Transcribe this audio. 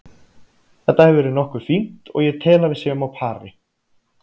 Þetta hefur verið nokkuð fínt og ég tel að við séum á pari.